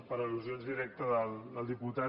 per al·lusions directes del diputat